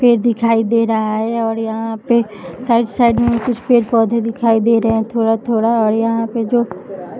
पेड़ दिखाई दे रहा है और यहाँ पे साइड साइड में कुछ पेड़-पौधे दिखाई दे रहे हैं थोड़ा-थोड़ा और यहाँ पे जो --